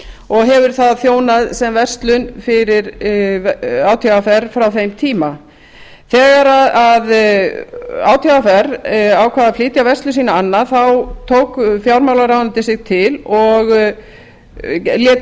og hefur það þjónað sem verslun fyrir átvr frá þeim tíma þegar átvr ákvað að flytja verslun sína annað þá tók fjármálaráðuneytið sig til og lét